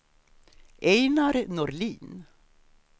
Einar Norlin